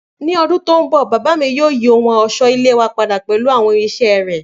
Ni ọdun to nbọ baba mi yoo yi ohun ọṣọ-ile wa pada pẹlu awọn irinṣẹ rẹ.